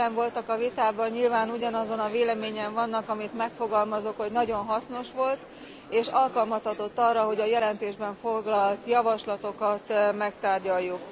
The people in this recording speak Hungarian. Akik jelen voltak a vitában, nyilván ugyanazon a véleményen vannak, amit megfogalmazok, hogy nagyon hasznos volt, és alkalmat adott arra, hogy a jelentésben foglalt javaslatokat megtárgyaljuk.